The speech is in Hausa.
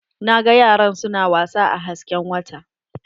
Na ga yaran su na wasa a hasken wata.